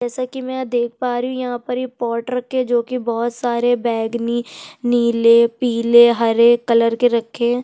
जैसा कि मैं यहाँ देख पा रही हूँ यहाँ पर इ पॉट रखे है जोकि बोहोत सारे बैगनी नीले पीले हरे कलर के रखे हैं।